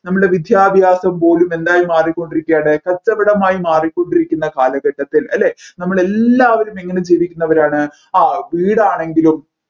നമ്മൾടെ വിദ്യാഭാസം പോലും എന്തായിമാറിക്കൊണ്ടിരിക്കയാണ് കച്ചവടമായി മാറിക്കൊണ്ടിരിക്കുന്ന കാലഘട്ടത്തിൽ അല്ലെ നമ്മൾ എല്ലാവരും എങ്ങനെ ജീവിക്കുന്നവരാണ് ആ വീടാണെങ്കിലും